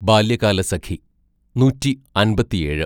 ബാല്യകാലസഖി (നൂറ്റിഅമ്പത്തിഏഴ് )